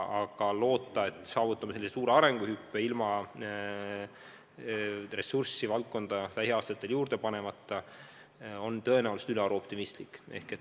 Aga loota, et saavutame suure arenguhüppe ilma ressurssi lähiaastatel juurde panemata on tõenäoliselt ülearu optimistlik.